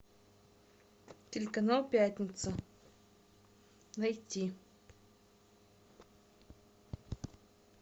телеканал пятница найти